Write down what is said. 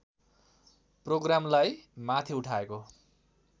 प्रोग्रामलाई माथि उठाएको